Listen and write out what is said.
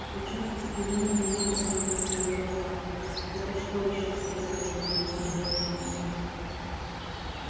пугачёв устремил на меня огненные свои глаза это что ещё спросил он меня с недоумением